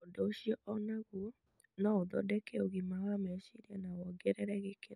Ũndũ ũcio o naguo no ũthondeke ũgima wa meciria na wongerere gĩkeno.